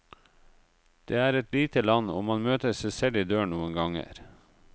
Det er et lite land, og man møter seg selv i døren noen ganger.